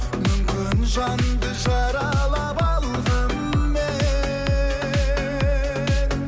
мүмкін жанды жаралап алған мен